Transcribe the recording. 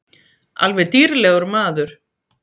Alveg dýrlegur maður.